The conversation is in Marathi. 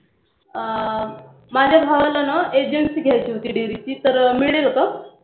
अं माझ्या भावाला नां Agency घ्यायची होती. Dairy ची तर मिळेल का?